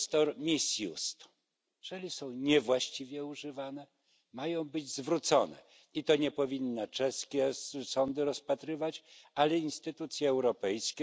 one albo czyli są niewłaściwie używane i mają być zwrócone, i to nie powinny czeskie sądy rozpatrywać, ale instytucje europejskie.